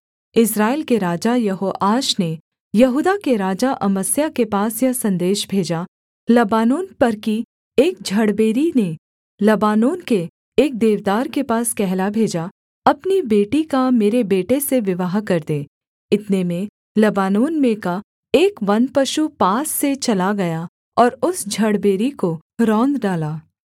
इस्राएल के राजा यहोआश ने यहूदा के राजा अमस्याह के पास यह सन्देश भेजा लबानोन पर की एक झड़बेरी ने लबानोन के एक देवदार के पास कहला भेजा अपनी बेटी का मेरे बेटे से विवाह कर दे इतने में लबानोन में का एक वन पशु पास से चला गया और उस झड़बेरी को रौंद डाला